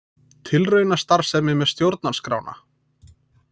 Tilraunastarfsemi með stjórnarskrána